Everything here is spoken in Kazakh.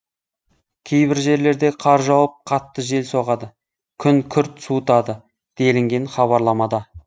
кейбір жерлерде қар жауып қатты жел соғады күн күрт суытады делінген хабарламада